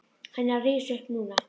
Hann er að rísa upp núna.